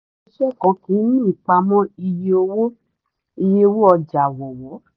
ilé-iṣẹ́ kan kì í ní ìpamọ́ iye owó iye owó ọjà wọ́wọ́.